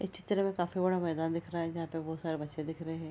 इस चित्र में काफी बड़ा मैदान दिख रहा है जहाँ पे बोहोत सारे बच्चे दिख रहे हैं।